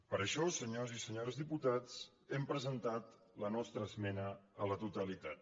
per això senyors i senyores diputats hem presentat la nostra esmena a la totalitat